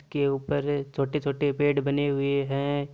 के ऊपर छोटे छोटे पेड़ बने हुए हैं।